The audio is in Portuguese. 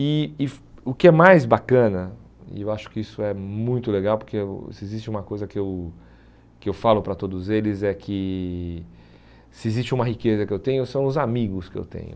E o que é mais bacana, e eu acho que isso é muito legal, porque o se existe uma coisa que eu que eu falo para todos eles é que se existe uma riqueza que eu tenho são os amigos que eu tenho.